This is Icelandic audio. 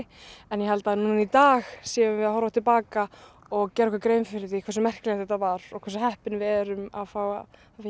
en ég held að núna í dag séum við að horfa til baka og gera okkur grein fyrir því hversu merkilegt þetta var og hversu heppin við erum að fá